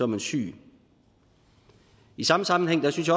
man syg i samme sammenhæng synes